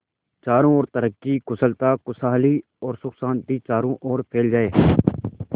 चारों और तरक्की कुशलता खुशहाली और सुख शांति चारों ओर फैल जाए